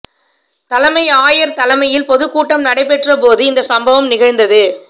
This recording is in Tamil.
தலைமை ஆயர் தலைமையில் பொதுக் கூட்டம் நடைபெற்ற போது இந்த சம்பவம் நிகழ்ந்தது